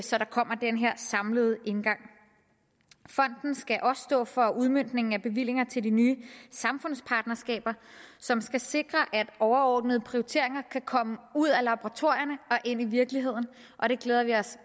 så der kommer den her samlede indgang fonden skal også stå for udmøntningen af bevillinger til de nye samfundspartnerskaber som skal sikre at overordnede prioriteringer kan komme ud af laboratorierne og ind i virkeligheden og det glæder vi os